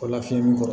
O lafiyɛn kɔrɔ